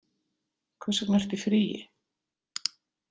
Hvers vegna ertu í fríi?